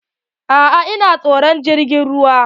A'a ina tsoron jirgin ruwa.